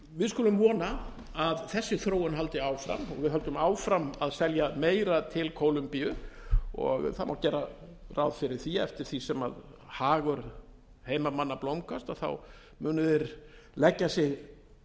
við skulum vona að þessi þróun haldi áfram og við höldum áfram að selja meira til kólombíu og það má gera ráð fyrir því að eftir því sem hagur heimamanna blómgast muni þeir leggja sig